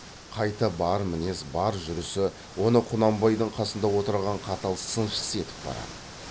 қайта бар мінез бар жүрісі оны құнанбайдың қасында отырған қатал сыншысы етіп барады